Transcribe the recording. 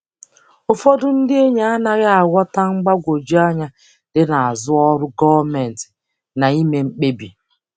Ụfọdụ ndị enyi anaghị aghọta mgbagwoju anya dị n'azụ ọrụ gọọmentị na ime mkpebi.